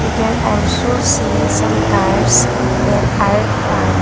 can also see some cars that are parked.